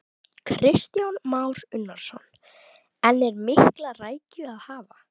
Kristján Már Unnarsson: En er mikla rækju að hafa?